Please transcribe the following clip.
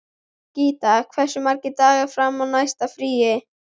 Ríta, hversu margir dagar fram að næsta fríi?